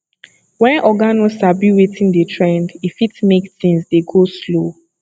when oga no sabi wetin dey trend e fit make things dey go slow